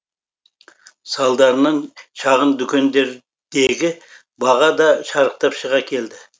салдарынан шағын дүкендердегі баға да шарықтап шыға келді